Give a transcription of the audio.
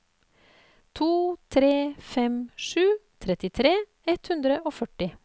to tre fem sju trettitre ett hundre og førti